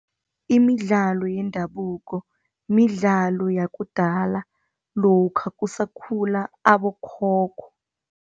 Imidlalo yendabuko midlalo yakudala lokha kusakhula abokhokho.